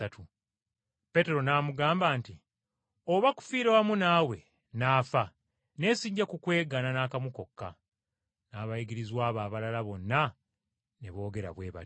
Peetero n’amugamba nti, “Oba kufiira wamu naawe n’afa, naye sijja kukwegaana n’akamu kokka.” N’abayigirizwa be abalala bonna ne boogera bwe batyo.